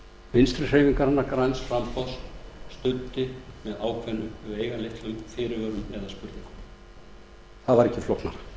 vinstri hreyfingarinnar græns framboðs studdi með ákveðnum veigamiklum fyrirvörum eða spurningum það var ekki flóknara